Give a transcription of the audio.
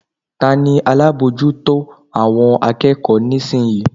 Ta ni alábòójútó àwọn akẹ́kọ̀ọ́ nísinsìnyí?